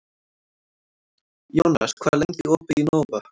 Jónas, hvað er lengi opið í Nova?